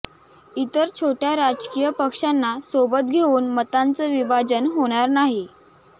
इतर छोट्या राजकीय पक्षांना सोबत घेऊऩ मतांचं विभाजन होणार नाही